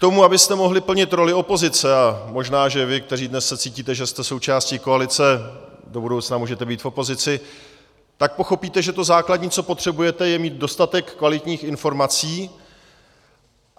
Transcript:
K tomu, abyste mohli plnit roli opozice, a možná, že vy, kteří se dnes cítíte, že jste součástí koalice, do budoucna můžete být v opozici, tak pochopíte, že to základní, co potřebujete, je mít dostatek kvalitních informací.